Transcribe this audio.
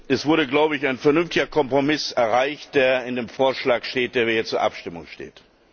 Es wurde, glaube ich, ein vernünftiger Kompromiss erreicht, der in dem Vorschlag steht, der hier zur Abstimmung steht.